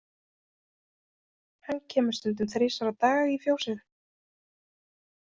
Hann kemur stundum þrisvar á dag í fjósið.